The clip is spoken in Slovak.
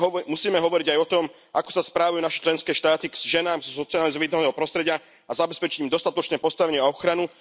Musíme hovoriť aj o tom, ako sa správajú naše členské štáty k ženám so sociálne znevýhodneného prostredia, a zabezpečiť im dostatočné postavenie a ochranu.